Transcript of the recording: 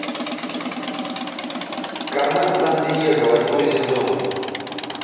кармен сан диего восьмой сезон